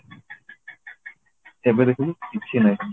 ଏବେ ଦେଖୁନୁ କିଛି ନାହିଁ